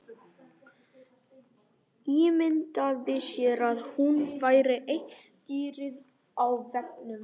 Ímyndaði sér að hún væri eitt dýrið á veggnum.